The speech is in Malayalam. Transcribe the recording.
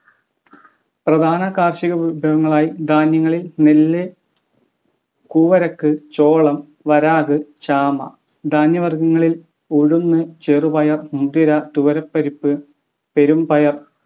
പ്രധാന കാർഷിക വിഭവങ്ങളായി ധാന്യങ്ങളിൽ നെല്ല് കൂവരക്ക് ചോളം വരാഗ് ചാമ ധാന്യ വർഗ്ഗങ്ങളിൽ ഉഴുന്ന് ചെറുപയർ മുതിര തുവരപ്പരിപ് പെരുംപയർ